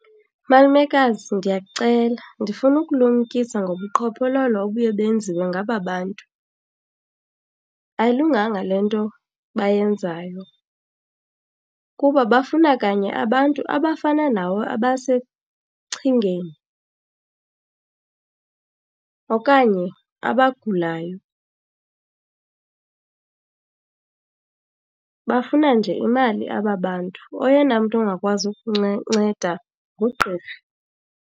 Malumekazi, ndiyakucela ndifuna ukulumkisa ngobuqhophololo obuye benziwe ngaba bantu. Ayilunganga le nto bayenzayo kuba bafuna kanye abantu abafana nawe abasesichengeni okanye abagulayo. Bafuna nje imali aba bantu. Oyena mntu ungakwazi nceda ngugqirha.